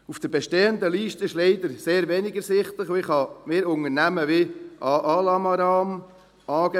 Auf der bestehenden Liste ist leider sehr wenig ersichtlich, und ich kann mir unter Namen wie «Aalamaram» wenig vorstellen.